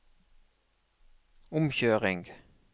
omkjøring